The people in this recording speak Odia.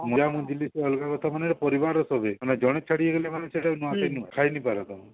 କାଣା ଯେ ପାରିବାର ରେ ସବୁ ହୁଏ ଜେନ ଛାଡିକି ଗଲେ ମାନେ ସେଟ ନୂଆଖାଇ ନୁହଁ ଖାଇନେଇ ପାର ତମେ